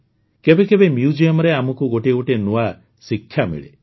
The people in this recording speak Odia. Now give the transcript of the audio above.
କେବେ କେବେ Museumରେ ଆମକୁ ଗୋଟିଏ ଗୋଟିଏ ନୂଆ ଶିକ୍ଷା ମିଳେ